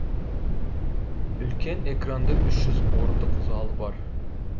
үлкен экранды үш жүз орындық залы бар